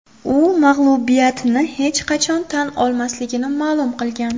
U mag‘lubiyatini hech qachon tan olmasligini ma’lum qilgan.